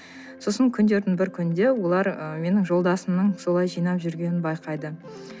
сосын күндердің бір күнінде олар ы менің жолдасымның солай жинап жүргенін байқайды